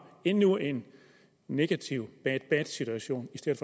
endnu en negativ bad bad situation i stedet